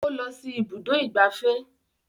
O lọ sí ibùdó ìgbafẹ́